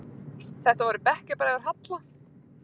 Þetta voru bekkjarbræður Halla.